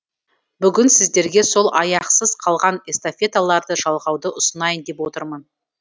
бүгін сіздерге сол аяқсыз қалған эстафеталарды жалғауды ұсынайын деп отырмын